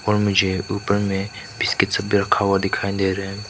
और मुझे ऊपर में बिस्किट सब भी रखा हुआ दिखाई दे रहा है।